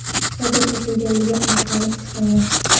sodir etganligi aniqlanib, ushlangan.